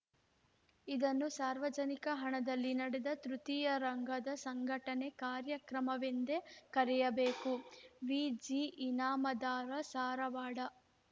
ಇದನ್ನು ಸಾರ್ವಜನಿಕ ಹಣದಲ್ಲಿ ನಡೆದ ತೃತೀಯ ರಂಗದ ಸಂಘಟನೆ ಕಾರ್ಯಕ್ರಮವೆಂದೆ ಕರೆಯಬೇಕೆ ವಿಜಿಇನಾಮದಾರಸಾರವಾಡ